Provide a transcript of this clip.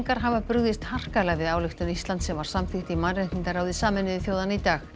hafa brugðist harkalega við ályktun Íslands sem var samþykkt í mannréttindaráði Sameinuðu þjóðanna í dag